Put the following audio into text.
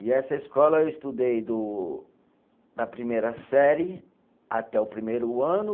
E essa escola eu estudei do da primeira série até o primeiro ano.